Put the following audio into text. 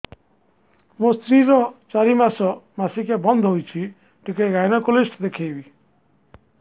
ମୋ ସ୍ତ୍ରୀ ର ଚାରି ମାସ ମାସିକିଆ ବନ୍ଦ ହେଇଛି ଟିକେ ଗାଇନେକୋଲୋଜିଷ୍ଟ ଦେଖେଇବି